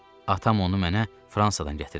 Atam onu mənə Fransadan gətirib.